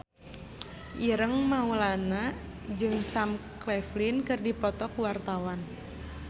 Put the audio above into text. Ireng Maulana jeung Sam Claflin keur dipoto ku wartawan